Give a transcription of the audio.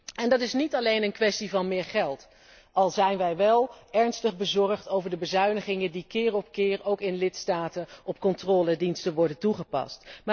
En dat is niet alleen kwestie van meer geld, al zijn wij wel ernstig bezorgd over de bezuinigingen die keer op keer ook in lidstaten op controlediensten worden toegepast.